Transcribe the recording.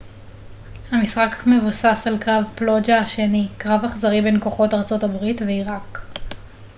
המשחק מבוסס על קרב פלוג'ה השני קרב אכזרי בין כוחות ארה ב ועיראק